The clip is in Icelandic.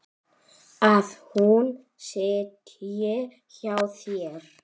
Að hún sitji hjá þér?